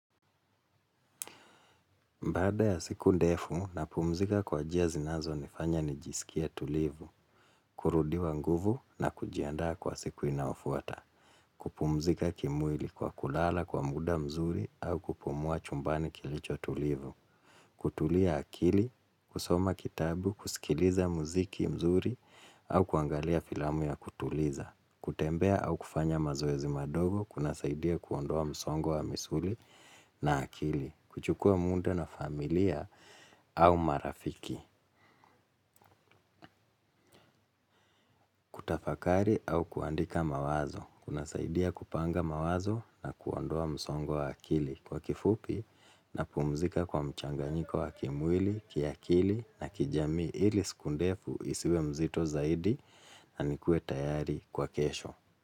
Baada ya siku ndefu napumzika kwa njia zinazo nifanya nijiskie tulivu, kurudiwa nguvu na kujiandaa kwa siku inayofuata, kupumzika kimwili kwa kulala kwa muda mzuri au kupumua chumbani kilicho tulivu, kutulia akili, kusoma kitabu, kusikiliza muziki mzuri au kuangalia filamu ya kutuliza, kutembea au kufanya mazoezi madogo kuna saidia kuondoa msongo wa misuli na akili, kuchukua muda na familia au marafiki, kutafakari au kuandika mawazo, kuna saidia kupanga mawazo na kuondoa msongo wa akili kwa kifupi na pumzika kwa mchanganyiko wa kimwili, kiakili na kijamii ili siku ndefu isiwe mzito zaidi au kuangalia filamu ya kutuliza, kutembea au kufanya mazoezi madogo kuna saidia kuondoa msongo wa misuli na akili, kuchukua muda na familia au marafiki,